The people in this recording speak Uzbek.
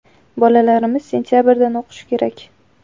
Bolalarimiz sentabrdan o‘qishi kerak.